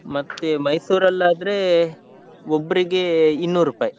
ಮತ್ತೆ Mysore ಲ್ಲಾದ್ರೆ, ಒಬ್ರಿಗೇ ಇನ್ನೂರುಪಾಯಿ.